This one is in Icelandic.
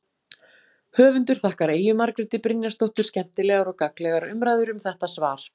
Höfundur þakkar Eyju Margréti Brynjarsdóttur skemmtilegar og gagnlegar umræður um þetta svar.